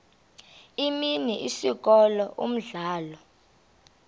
imini isikolo umdlalo